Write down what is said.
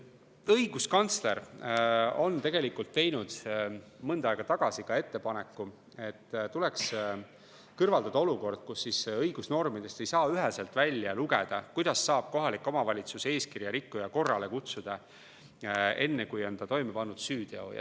Õiguskantsler on teinud mõnda aega tagasi ettepaneku, et tuleks lõpetada olukord, kus õigusnormidest ei saa üheselt välja lugeda, kuidas saab kohalik omavalitsus eeskirja rikkuja korrale kutsuda enne, kui ta on toime pannud süüteo.